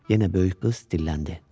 Yenə böyük qız dilləndi.